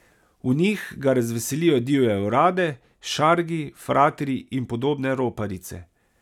V njih ga razveselijo divje orade, šargi, fratri in podobne roparice.